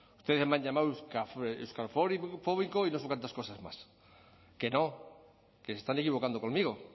ustedes me han llamado euskalfóbico y no sé cuántas cosas más que no que se están equivocando conmigo